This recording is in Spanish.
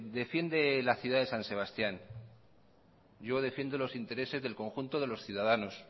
defiende la ciudad de san sebastián yo defiendo los intereses del conjunto de los ciudadanos